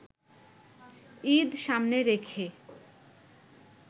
ঈদ সামনে রেখে